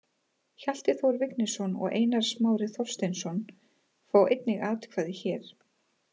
Hjalti Þór Vignisson og Einar Smári Þorsteinsson fá einnig atkvæði hér.